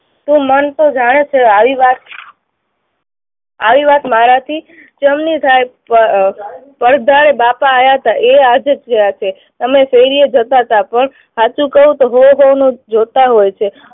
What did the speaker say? તો મન તો જાણે છે આવિ વાત, આવી વાત મારાથી કેમની થાય? પર અર પરદાઢે બાપા આવ્યા હતા, એ આજે ગયા હશે. તમે શેરીએ જતા હતા પણ સાચું કહું, તો સૌ સૌનું જોતા હોય છે.